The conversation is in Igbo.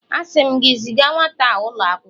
Asi m gi, ziga nwata a ulo akwukwo!